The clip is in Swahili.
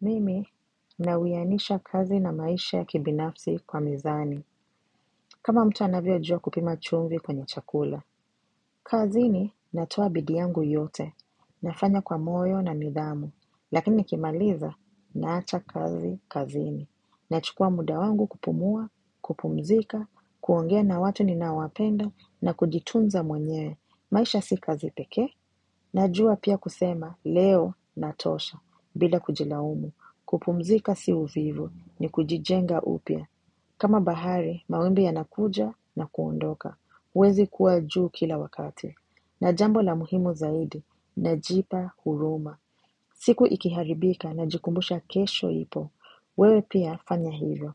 Mimi, nawiyanisha kazi na maisha ya kibinafsi kwa mizani. Kama mtu anavyojua kupima chumvi kwenye chakula. Kazini, natoa bidii yangu yote. Nafanya kwa moyo na nidhamu. Lakini nikimaliza, naacha kazi, kazini. Nachukua muda wangu kupumua, kupumzika, kuongea na watu ninawapenda, na kujitunza mwenyewe. Maisha si kazi peke, najua pia kusema leo natosha, bila kujilaumu. Kupumzika si uvivu ni kujijenga upya kama bahari, mawimbi yanakuja na kuondoka huezi kuwa juu kila wakati na jambo la muhimu zaidi Najipa huruma siku ikiharibika najikumbusha kesho ipo wewe pia fanya hivyo